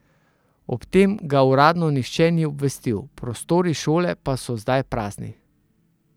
O tem ga uradno nihče ni obvestil, prostori šole pa so zdaj prazni.